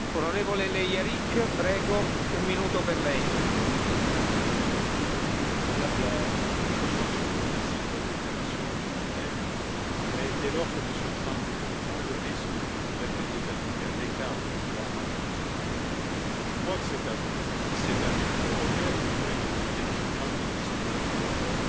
Monsieur le Président, Madame la Haute représentante, je vous remercie de votre déclaration liminaire, mais dès lors que M. Trump prend le risque de mettre les États Unis à l'écart du droit international, je crois que c'est à vous, c'est à l'Union européenne, du fait de nos liens géographiques, historiques et culturels